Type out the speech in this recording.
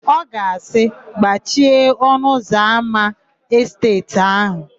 Ọ ga-asị, "gbachie ọnụụzọámá esteeti áhụ̀"